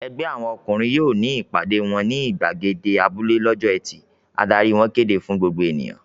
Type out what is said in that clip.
"Ẹgbẹ́ àwọn ọkùnrin yóò ní ìpàdé wọn ní ìgbàgede abúlé lọ́jọ́ ẹtì!" Adarí wọn kéde fún gbogbo ènìyàn.